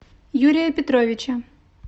юрия петровича